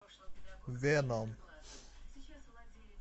веном